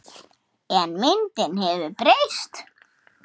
En myndin hefur breyst.